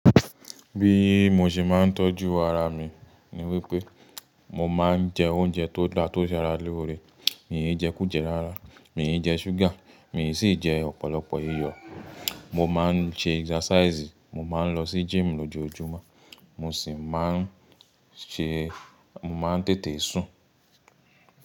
Bí mo ṣe máa ń tọ́jú ara mi ni wípé mo máa ń jẹ oúnjẹ tó dà tó ṣe ara loore, mi i jẹ kùjẹ rárá, mi i jẹ ṣúgà, mi sì jẹ ọ̀pọ̀lọpọ̀ iyọ̀. Mo máa ń ṣe exercise, mo máa ń lọ sí gym lójoójúmọ́, mo sì máa ń ṣe, mo máa ń tètè sùn.